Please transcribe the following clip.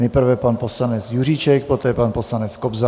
Nejprve pan poslanec Juříček, poté pan poslanec Kobza.